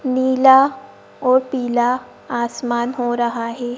नीला और पीला आसमान हो रहा है।